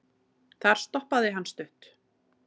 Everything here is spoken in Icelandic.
Þar stoppaði hann stutt.